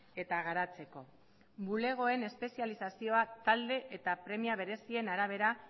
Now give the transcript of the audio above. eta garatzeko bulegoen espezializazioa talde eta premia berezien arabera